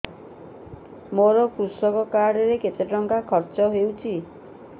ମୋ କୃଷକ କାର୍ଡ ରେ କେତେ ଟଙ୍କା ଖର୍ଚ୍ଚ ହେଇଚି